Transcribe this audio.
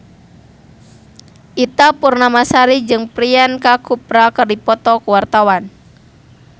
Ita Purnamasari jeung Priyanka Chopra keur dipoto ku wartawan